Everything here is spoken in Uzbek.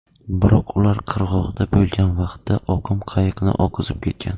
Biroq ular qirg‘oqda bo‘lgan vaqtda oqim qayiqni oqizib ketgan.